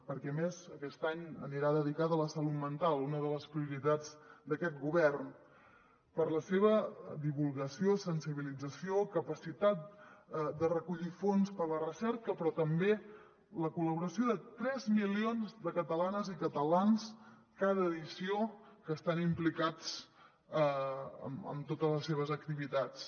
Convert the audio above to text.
perquè a més aquest any anirà dedicada a la salut mental una de les prioritats d’aquest govern per la seva divulgació sensibilització capacitat de recollir fons per a la recerca però també per la col·laboració de tres milions de catalanes i catalans en cada edició que estan implicats en totes les seves activitats